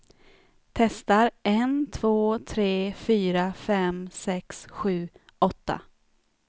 Testar en två tre fyra fem sex sju åtta.